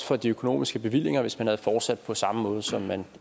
for de økonomiske bevillinger hvis man havde fortsat på samme måde som man